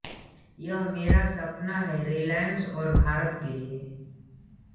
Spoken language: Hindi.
यह मेरा सपना है रिलायंस और भारत के लिए